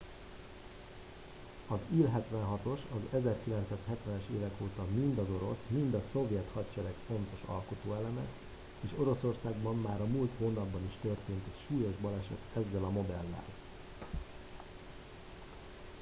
az il-76-os az 1970-es évek óta mind az orosz mind a szovjet hadsereg fontos alkotóeleme és oroszországban már a múlt hónapban is történt egy súlyos baleset ezzel a modellel